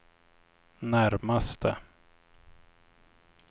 närmaste